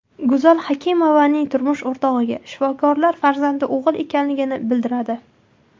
Go‘zal Hakimovaning turmush o‘rtog‘iga shifokorlar farzandi o‘g‘il ekanligini bildiradi.